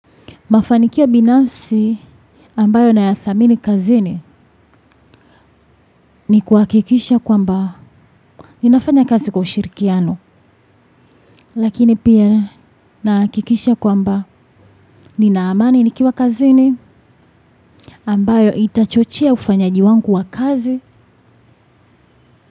Mafanikio binafsi ambayo nayathamini kazini ni kuhakikisha kwamba ninafanya kazi kwa ushirikiano. Lakini pia nahakikisha kwamba nina amani nikiwa kazini ambayo itachochea ufanyaji wangu wa kazi.